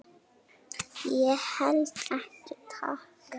Ég held ekki, takk.